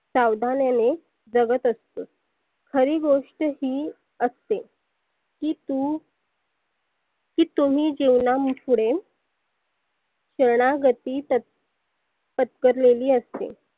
सावधानाने जगत असतोस. खरी गोष्ट ही असते. की तु की तुम्ही जिवना पुढे शरनागती पत्क पत्कारलेली असते.